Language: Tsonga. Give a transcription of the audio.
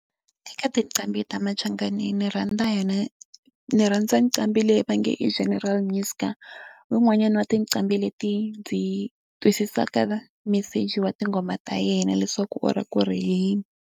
Eka tinqambi ta machangani ni rhandza yona ndzi rhandza nqambi leyi va nge i General Muzka. I wun'wanyani wa tinqambi leti ndzi twisisaka meseji wa tinghoma ta yena leswaku u lava ku ri yini.